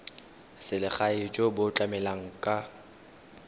selegae jo bo tlamelang ka